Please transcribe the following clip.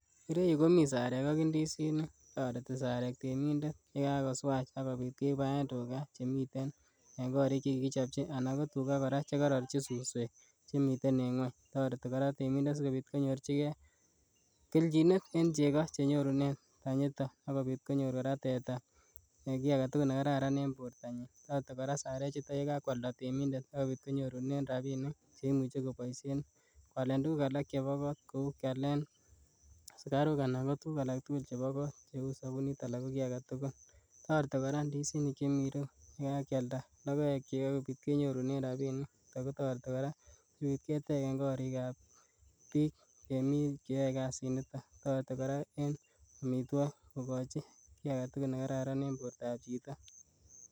Ireyu komi sarek ak indisinik toreti sarek temindet yekakoswach ak kobit kebaen tugaa chemiten en korik chekikichopchi anan kotugaa koraa chekororji suswek chemiten en ngweny toreti temindet sikobit konyorjigee kelchinet en chegoo chenyorunen tanyiito ak kobit konyorjigee koraa teta ee kii agetugul nekararan en bortanyin, toreti koraa sarechuto yekakwalda temindet ak kobit konyorune rabinik cheimuche koboisien kwalen tuguk alak chebo kot kou kialen sukaruk anan ko tuguk alaktugul chebo kot cheu sobunit alaa koki agetugul, toreti koraa ndisinik chemi ireyu yekakialda logoekchi ak kobit kenyorunen rabinik akotoreti koraa sikobit ketegen korikab bik chemi chayoe kasiniton toreti koraa en omitwogik kokochi kii agetugul nekararan en bortab chito.